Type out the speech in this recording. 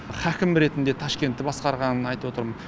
хәкім ретінде ташкентті басқарған айтып отырмын